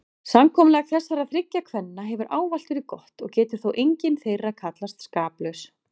Samkomulag þessara þriggja kvenna hefur ávallt verið gott og getur þó engin þeirra kallast skaplaus.